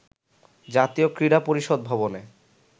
জাতীয় ক্রীড়া পরিষদ ভবনে